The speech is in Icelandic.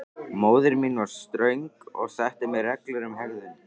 Móðir mín var ströng og setti mér reglur um hegðun.